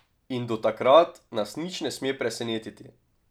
In do takrat nas nič ne sme presenetiti.